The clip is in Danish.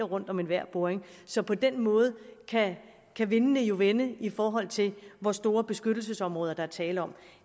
rundt om enhver boring så på den måde kan vindene jo vende i forhold til hvor store beskyttelsesområder der er tale om